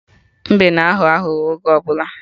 Mbe na aghọ aghụghọ oge ọbụla